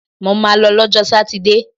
Mo ma lọ lọ́jọ́ sátidé!